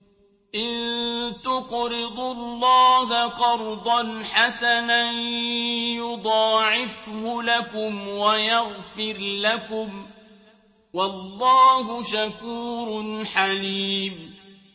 إِن تُقْرِضُوا اللَّهَ قَرْضًا حَسَنًا يُضَاعِفْهُ لَكُمْ وَيَغْفِرْ لَكُمْ ۚ وَاللَّهُ شَكُورٌ حَلِيمٌ